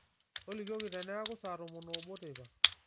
tolikioki teneeku saa tomon oobo teipa